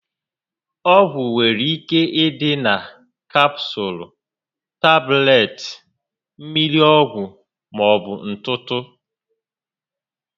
Ọgwụ nwere ike ịdị na Kapsụụls, tablets, mmiri ọgwụ, maọbu na ntụtụ